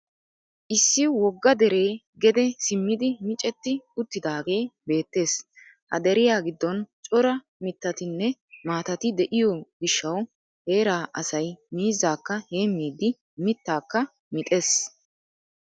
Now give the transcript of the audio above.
Issi wogga deree gede simmidi micetti uttidaagee beettees. Ha deriya giddon cora mittatinne maatati de'iyo gishshawu heraa asay miizzaakka heemmiidii mittaakka mixees.